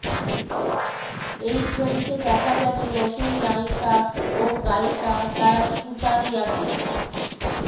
এই ছবিতে দেখা যাবে নতুন নায়িকা ও গায়িকা তারা সুতারিয়াকে